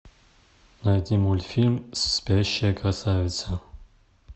найти мультфильм спящая красавица